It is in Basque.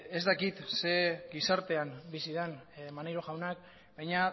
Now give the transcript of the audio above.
ez dakit zein gizartean bizi den maneiro jauna baina